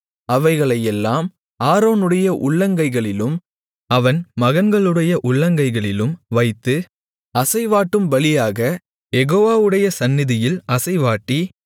அவைகளையெல்லாம் ஆரோனுடைய உள்ளங்கைகளிலும் அவன் மகன்களுடைய உள்ளங்கைகளிலும் வைத்து அசைவாட்டும் பலியாகக் யெகோவாவுடைய சந்நிதியில் அசைவாட்டி